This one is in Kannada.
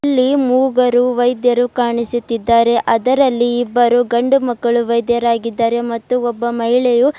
ಇಲ್ಲಿ ಮೂಗರು ವೈದ್ಯರು ಕಾಣಿಸುತ್ತಿದ್ದಾರೆ ಅದರಲ್ಲಿ ಇಬ್ಬರು ಗಂಡು ಮಕ್ಕಳು ವೈದ್ಯರಾಗಿದ್ದಾರೆ ಮತ್ತು ಒಬ್ಬ ಮಹಿಳೆಯು --